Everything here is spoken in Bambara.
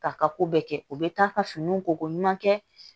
K'a ka ko bɛɛ kɛ u bɛ taa ka finiw koko ɲuman kɛ